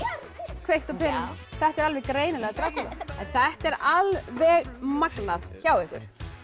kveikt á perunni þetta er alveg greinilega Drakúla þetta er alveg magnað hjá ykkur